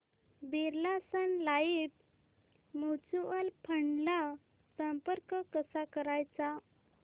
Birla Sun Life mutual fund ला संपर्क कसा करायचा